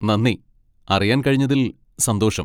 നന്ദി, അറിയാൻ കഴിഞ്ഞതിൽ സന്തോഷം